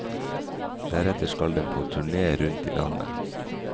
Deretter skal den på turné rundt i landet.